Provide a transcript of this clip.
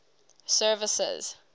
services